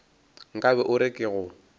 nkabe o re ke go